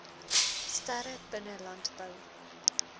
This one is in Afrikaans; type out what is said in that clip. sterre binne landbou